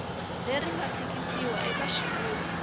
leri nga tikisiwa eka xivulwa